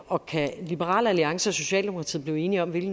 og kan liberal alliance og socialdemokratiet blive enige om hvilke